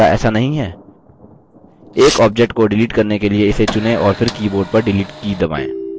एक object को delete करने के लिए इसे चुनें और फिर keyboard पर delete की दबाएँ